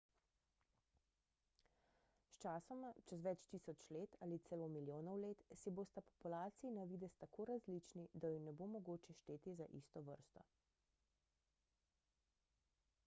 sčasoma čez več tisoč ali celo milijonov let si bosta populaciji na videz tako različni da ju ne bo mogoče šteti za isto vrsto